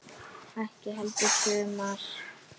Ekki heldur sumar.